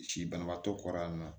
Si banabaatɔ kɔrɔ yan nɔ